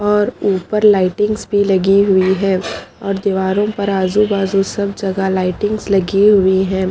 और उपर लाइटिंगस भी लगी हुई है और दीवारो पर आजु बाजू सब जगह लाइटिंगस हुई है।